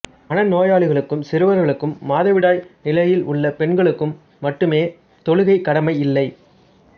மனநோயாளிகளுக்கும் சிறுவர்களுக்கும் மாதவிடாய் நிலையில் உள்ள பெண்களுக்கும் மட்டுமே தொழுகை கடமை இல்லை